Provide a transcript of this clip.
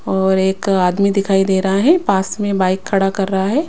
और एक आदमी दिखाई दे रहा है पास में बाइक खड़ा कर रहा है।